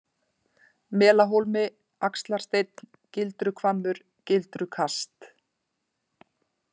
Melahólmi, Axlarsteinn, Gildruhvammur, Gildrukast